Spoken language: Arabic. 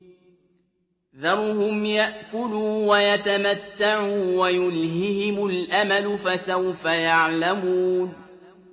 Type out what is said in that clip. ذَرْهُمْ يَأْكُلُوا وَيَتَمَتَّعُوا وَيُلْهِهِمُ الْأَمَلُ ۖ فَسَوْفَ يَعْلَمُونَ